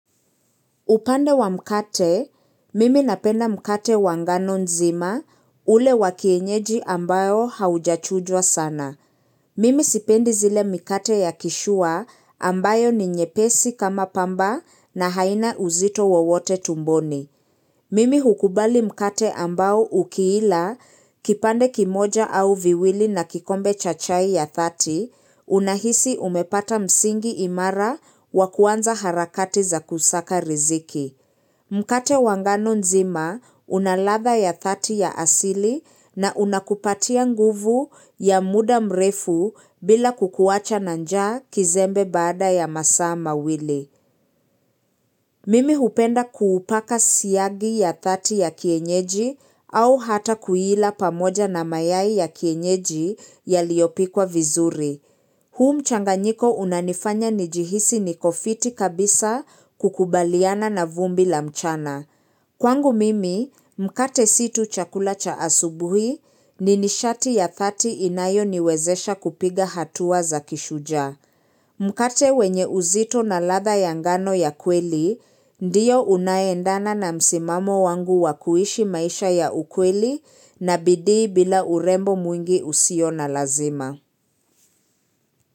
Upande wa mkate, mimi napenda mkate wa ngano nzima ule wa kienyeji ambayo haujachujwa sana. Mimi sipendi zile mkate ya kishua ambayo ni nyepesi kama pamba na haina uzito wowote tumboni. Mimi hukubali mkate ambayo ukiila, kipande kimoja au viwili na kikombe cha chai ya thati, unahisi umepata msingi imara wa kuanza harakati za kusaka riziki. Mkate wa nganonzima unalatha ya dhati ya asili na unakupatia nguvu ya muda mrefu bila kukuwacha na njaa kizembe baada ya masaa mawili. Mimi hupenda kuupaka siyagi ya dhati ya kienyeji au hata kuila pamoja na mayai ya kienyeji yaliyopikwa vizuri. Huu mchanganyiko unanifanya nijihisi niko fiti kabisa kukubaliana na vumbi la mchana. Kwangu mimi, mkate si tu chakula cha asubuhi ni nishati ya dhati inayoniwezesha kupiga hatua za kishujaa. Mkate wenye uzito na ladha ya ngano ya kweli, ndiyo unaendana na msimamo wangu wa kuishi maisha ya ukweli na bidii bila urembo mwingi usio na lazima.